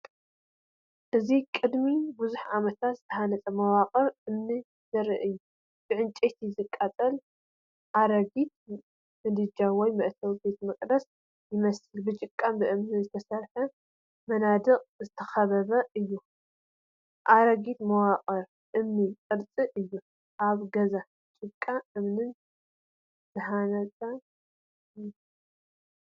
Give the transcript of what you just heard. እዚ ቅድሚ ብዙሕ ዓመታት ዝተሃንጸ መዋቕር እምኒ ዘርኢ እዩ። ብዕንጨይቲ ዝቃጸል ኣረጊት ምድጃ ወይ መእተዊ ቤተ መቕደስ ይመስል፣ ብጭቃን እምንን ብዝተሰርሐ መናድቕ ዝተኸበበ እዩ። ኣረጊት መዋቕር እምኒ ቅርሲ እዩ፣ ኣብ ገዛ ጭቃን እምንን ዝተሃንጸ እዩ።